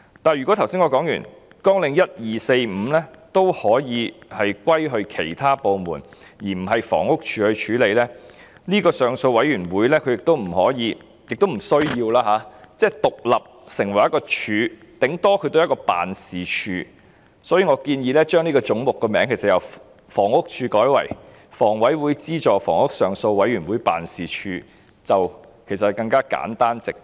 不過，正如我之前提及，綱領1、2、4及5均可歸入其他部門，而不是由房屋署負責，如此一來，這個上訴委員會便不可以、亦不需要獨立成為一個"署"，最多只是一個辦事處，所以我建議將這個總目的名稱由"房屋署"改為"香港房屋委員會資助房屋上訴委員會辦事處"，其實會更簡單直接。